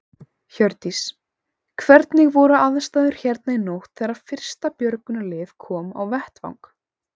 Hjördís: Hvernig voru aðstæður hérna í nótt þegar að fyrsta björgunarlið kom á vettvang?